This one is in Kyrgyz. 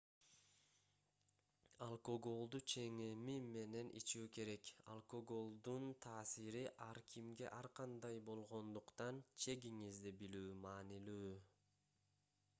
алкоголду ченеми менен ичүү керек алкоголдун таасири ар кимге ар кандай болгондуктан чегиңизди билүү маанилүү